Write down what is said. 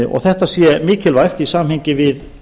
og þetta sé mikilvægt í samhengi við